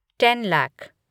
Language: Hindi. टेन लैख